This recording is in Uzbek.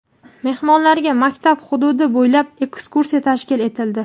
mehmonlarga maktab hududi bo‘ylab ekskursiya tashkil etildi.